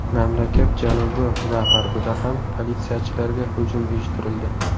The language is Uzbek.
Mamlakat janubi va g‘arbida ham politsiyachilarga hujum uyushtirildi.